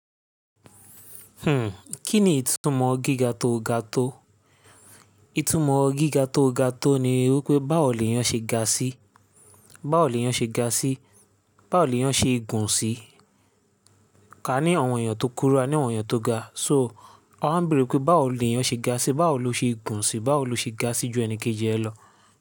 Hmm, kí ni ìtumọ̀ gíga tó ga tó? Ìtumọ̀ gíga tó ga tó ni wípé báwo leyán ṣe ga síí? Báwo ni ó yá ṣe ga síí? Bawo leyan se gun si? Ka ní àwọn èèyàn tó kúrú, a ní àwọn èèyàn tó ga. So won wa n bere pe bawo ni o se ga si. Báwo lo ṣe gùn síí? Báwo lo ṣe ga síí ju ẹnikéjì ẹ lọ?